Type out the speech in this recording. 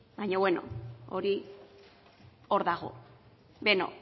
baina bueno hori hor dago